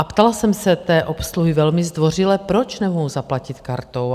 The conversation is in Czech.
A ptala jsem se té obsluhy velmi zdvořile, proč nemohu zaplatit kartou?